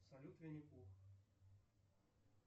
салют винни пух